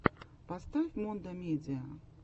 поставь мондо медиа